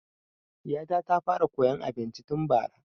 Ɗiya ta ta fara koyan abinci tun bara